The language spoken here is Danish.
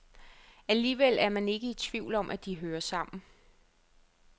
Alligevel er man ikke i tvivl om, at de hører sammen.